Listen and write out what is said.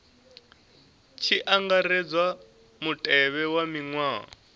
tshi angaredzwa mutevhe wa maṅwalwa